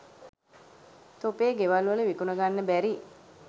තොපේ ගෙවල් වල විකුණ ගන්න බැරි